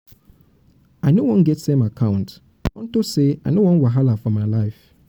i no wan get same account get same account unto say i no wan wahala for my life.